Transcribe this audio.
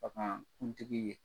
Ka kan kuntigi ye.